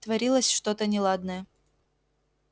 творилось что-то неладное